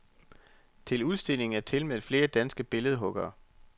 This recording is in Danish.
Til udstillingen er tilmeldt flere danske billedhuggere.